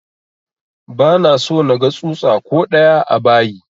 Ba na so naga tsutsa ko ɗaya a bayi!